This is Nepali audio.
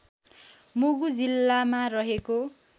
मुगु जिल्लामा रहेको